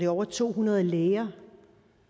over to hundrede læger